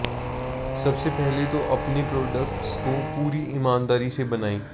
सबसे पहले तो अपने प्रोडक्ट्स को पूरी ईमानदारी से बनाएं